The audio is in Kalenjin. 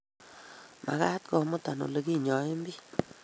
Magaat komuta oleginyoen biik